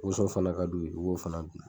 woso fana ka d'u yen u b'o fana dun